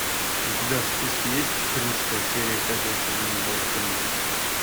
у тебя в списке есть четырнадцатая серия пятого сезона волчонок